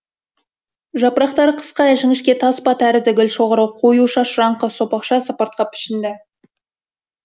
жапырақтары қысқа жіңішке таспа тәрізді гүлшоғыры қою шашыраңқы сопақша сыпыртқы пішінді